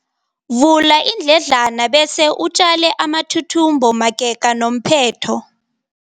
Vula iindledlana bese utjale amathuthumbo magega nomphetho.